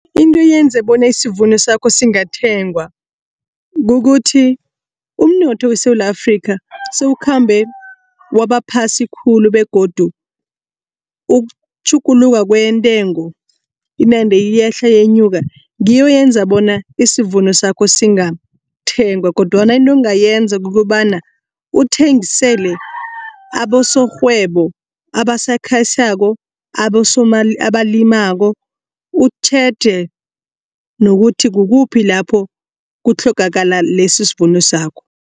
Into eyenza bona isivuno sakho singathengwa. Kukuthi umnotho weSewula Afrika sewukhambe wabaphasi khulu begodu ukutjhuguluka kwentengo inande iyehla yenyuka ngiyo eyenza bona isivuno sakho singathengwa kodwana into ongayenza kukobana uthengisele abosorhwebo abasakhasako abalimako. Utjheje nokuthi kukuphi lapho kutlhogakala lesi sivuno sakho.